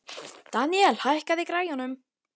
Deníel, hækkaðu í græjunum.